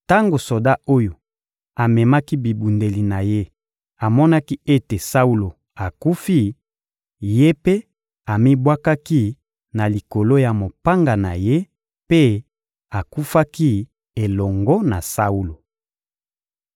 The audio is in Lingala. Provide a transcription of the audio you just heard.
Tango soda oyo amemaki bibundeli na ye amonaki ete Saulo akufi, ye mpe amibwakaki na likolo ya mopanga na ye mpe akufaki elongo na Saulo.